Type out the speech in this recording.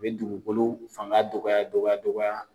A bɛ dugukolo fanga dɔgɔya dɔgɔya dɔgɔya.